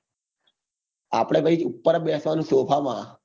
આપડે ભાઈ ઉપર જ બેસવા નું સોફા માં